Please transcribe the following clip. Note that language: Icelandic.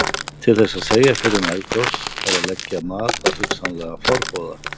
Til að segja fyrir um eldgos þarf að leggja mat á hugsanlega forboða.